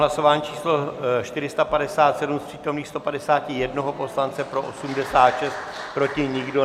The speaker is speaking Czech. Hlasování číslo 457, z přítomných 151 poslance pro 86, proti nikdo.